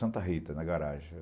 Santa Rita, na garagem.